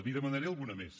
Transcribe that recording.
n’hi demanaré alguna més